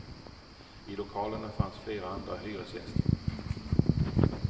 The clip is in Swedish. I lokalerna fanns flera andra hyresgäster.